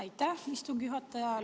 Aitäh, istungi juhataja!